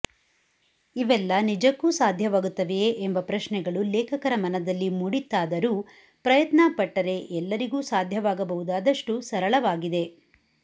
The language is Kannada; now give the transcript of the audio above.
ಇವೆಲ್ಲಾ ನಿಜಕ್ಕೂ ಸಾಧ್ಯವಾಗುತ್ತವೆಯೇ ಎಂಬ ಪ್ರಶ್ನೆಗಳು ಲೇಖಕರ ಮನದಲ್ಲಿ ಮೂಡಿತ್ತಾದರೂ ಪ್ರಯತ್ನ ಪಟ್ಟರೆ ಎಲ್ಲರಿಗೂ ಸಾಧ್ಯವಾಗಬಹುದಾದಷ್ಟು ಸರಳವಾಗಿದೆ